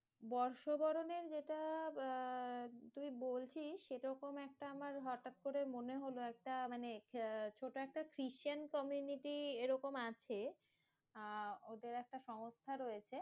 বর্ষবরণের যেটা আহ তুই বলছিস, সেরকম একটা আমার হটাৎ করে মনে হলো, একটা মানে ছোট একটা খ্রিষ্টান community এরকম আছে। আহ ওদের একটা সংস্থা রয়েছে